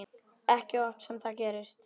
Ekki oft sem það gerist.